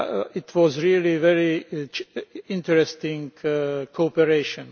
It was really a very interesting cooperation.